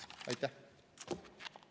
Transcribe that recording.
Aitäh!